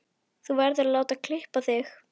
Þú verður að láta klippa þig.